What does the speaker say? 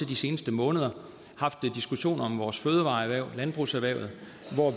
de seneste måneder haft diskussioner om vores fødevareerhverv landbrugserhvervet